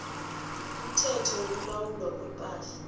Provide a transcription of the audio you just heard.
umthetho wokulawulwa kwepahla